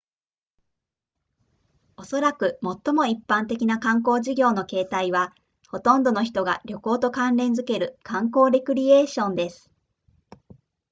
おそらく最も一般的な観光事業の形態はほとんどの人が旅行と関連付ける観光レクリエーションです